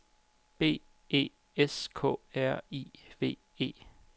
B E S K R I V E